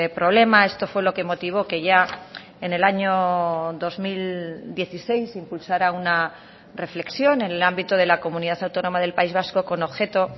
problema esto fue lo que motivó que ya en el año dos mil dieciséis se impulsara una reflexión en el ámbito de la comunidad autónoma del país vasco con objeto